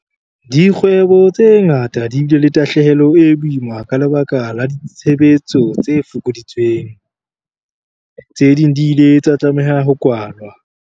Dikgwebo tse ngata di bile le tahlehelo e boima ka lebaka la ditshebetso tse fokoditsweng. Tse ding di ile tsa tlameha ho kwalwa.